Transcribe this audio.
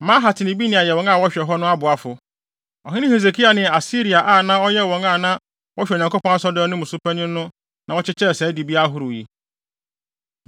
Mahat ne Benaia yɛ wɔn a wɔhwɛ hɔ no aboafo. Ɔhene Hesekia ne Asaria a na ɔyɛ wɔn a na wɔhwɛ Onyankopɔn Asɔredan no mu so panyin no na wɔkyekyɛɛ saa dibea ahorow yi.